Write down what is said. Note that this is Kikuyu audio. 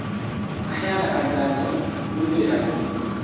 Maheanaga njanjo, na kũrũmĩrĩra gũkũra